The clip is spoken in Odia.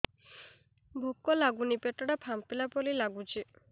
ଭୁକ ଲାଗୁନି ପେଟ ଟା ଫାମ୍ପିଲା ପରି ନାଗୁଚି